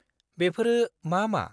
बेफोरो मा मा?